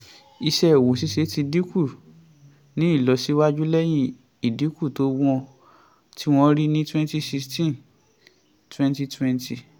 iṣẹ́ òwò ṣíṣe ti ni ìlọsíwájú lẹ́yìn ìdínkù tí wọ́n rí twenty sixteen twenty twenty